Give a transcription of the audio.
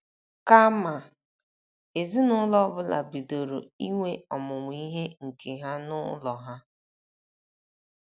Kama, ezinụlọ ọ bụla bidoro inwe ọmụmụ ihe nke ha n’ụlọ ha.